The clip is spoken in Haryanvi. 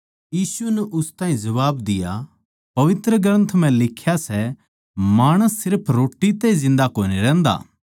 यीशु नै उस ताहीं जबाब दिया पवित्र ग्रन्थ म्ह लिख्या सै माणस सिर्फ रोट्टी तै जिन्दा कोनी रहन्दा